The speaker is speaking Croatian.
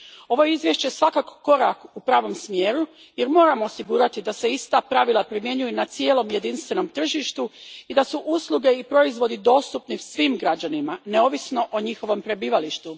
Ovo je izvješće svakako korak u pravom smjeru jer moramo osigurati da se ista pravila primjenjuju na cijelom jedinstvenom tržištu i da su usluge i proizvodi dostupni svim građanima neovisno o njihovom prebivalištu.